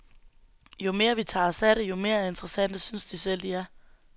Jo mere vi tager os af det, jo mere interessante synes de selv de er.